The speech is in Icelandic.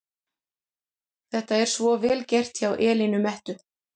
Þetta er svo VEL GERT hjá Elínu Mettu!